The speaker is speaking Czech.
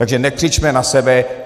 Takže nekřičme na sebe.